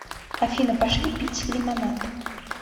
афина пошли пить лимонад